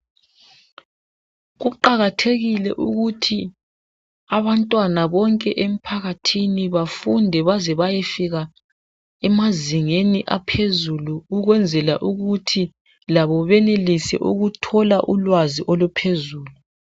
Kuqakathekile ukuthi abantwana bonke emphakathini bafunde baze bayefika emazingeni aphezulu ukwenzela ukuthi labo benelise ukuthola ulwazi oluphezulu.